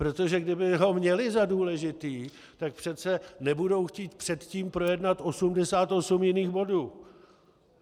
Protože kdyby ho měli za důležitý, tak přece nebudou chtít předtím projednat 88 jiných bodů.